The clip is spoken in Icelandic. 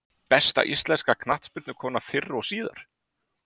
Besta íslenska knattspyrnukonan fyrr og síðar?